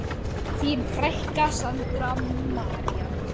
Þín frænka, Sandra María.